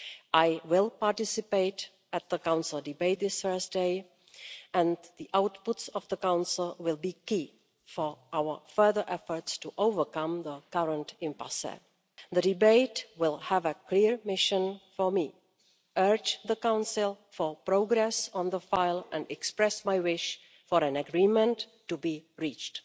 I will participate in the Council debate this Thursday, and the outputs of the Council will be key for our further efforts to overcome the current impasse. The debate will have a clear mission for me to urge the Council for progress on the file and express my wish for an agreement to be reached.